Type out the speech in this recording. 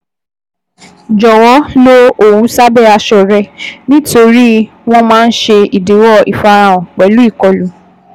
Jọwọ lo òwu sábẹ́ aṣọ rẹ nitori wọ́n máa ń ṣe idiwọ ifarahan pẹlu ìkọlù